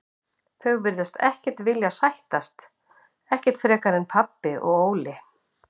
Þau virtust ekkert vilja sættast, ekki frekar en pabbi og Óli.